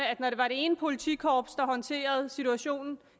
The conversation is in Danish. at når det var det ene politikorps der håndterede situationen